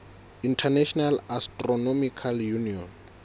international astronomical union